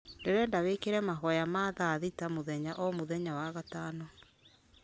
ndĩrenda wĩkĩre mahoya ma thaa thita mũthenya o mũthenya wa gatano